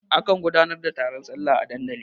A kan gudanar da taron sallah a dandali.